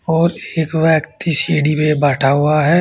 और एक व्यक्ति सीढ़ी में बैठा हुआ है।